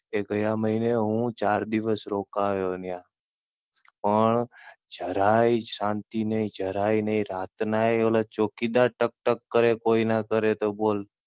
ગયા મહીને હું ચાર દિવસ રોકાયો ત્યાં પણ જરાય શાંતિ નહી, જરાય નહી રાત નાય ઓલા ચોકીદાર ટક ટક કરે કોઈ ના કરે તો બોલ.